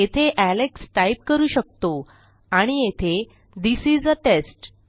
येथे Alex type करू शकतो आणि येथे थिस इस आ टेस्ट